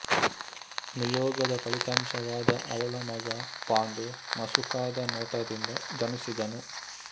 ನಿಯೋಗದ ಫಲಿತಾಂಶವಾದ ಅವಳ ಮಗ ಪಾಂಡು ಮಸುಕಾದ ನೋಟದಿಂದ ಜನಿಸಿದನು